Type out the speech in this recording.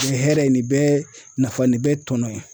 Nin hɛrɛ nin bɛɛ nafa nin bɛɛ tɔnɔ ye